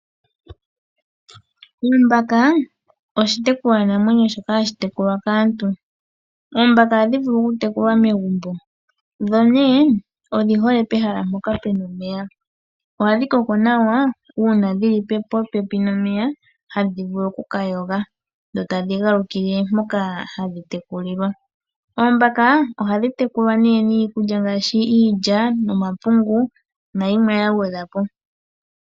Ombaka oshitekulwanamwenyo hashi tekulwa kaantu. Oombaka ohadhi vulu okutekulwa megumbo, dho nee odhi hole pehala mpoka pu na omeya. Ohadhi koko nawa uuna dhili popepi nomeya, hadhi vulu okuka yoga dho tadhi galukile moka hadhi tekulilwa. Oombaka ohadhi tekulwa nee niikulya ngaashi iilya, nomapungu nayimwe yagwedhwa po.